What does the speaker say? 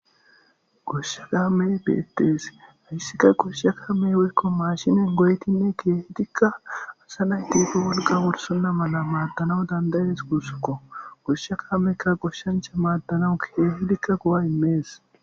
Goshshe kame beetees hayssika koshshe ka mey woykko maashinin goytinne keehidikka asa nay tiito wolga wolsunna mala maaddanawu dandayees gussukko goshshe kaamekka goshshancha maaddanawu keehidikka gowa immees.